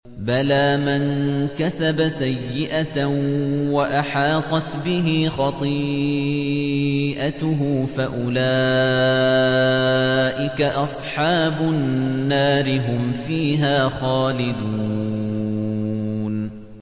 بَلَىٰ مَن كَسَبَ سَيِّئَةً وَأَحَاطَتْ بِهِ خَطِيئَتُهُ فَأُولَٰئِكَ أَصْحَابُ النَّارِ ۖ هُمْ فِيهَا خَالِدُونَ